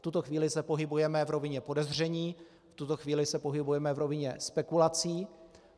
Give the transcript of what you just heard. V tuto chvíli se pohybujeme v rovině podezření, v tuto chvíli se pohybujeme v rovině spekulací.